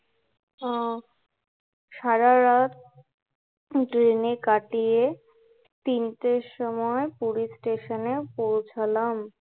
আহ সারারাত ট্রেনে কাটিয়ে তিনটের সময় পুরী স্টেশনে পৌছালাম